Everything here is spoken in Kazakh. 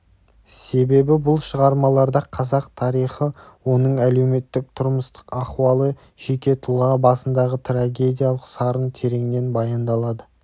себебі бұл шығармаларда қазақ тарихы оның әлеуметтік-тұрмыстық ахуалы жеке тұлға басындағы трагедиялық сарын тереңнен баяндалады